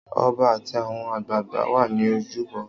Ọba àti àwọn àgbààgbà wà ní ojúbọ.